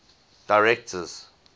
directors